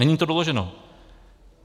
Není to doloženo.